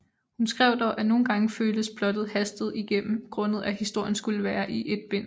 Hun skrev dog at nogle gange føltes plottet hastet igennem grundet at historien skulle være i et bind